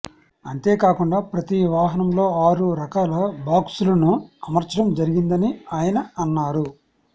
అంతేకాకుండా ప్రతి వాహనంలో ఆరు రకాల బాక్స్లను అమర్చడం జరిగిందని ఆయన అన్నారు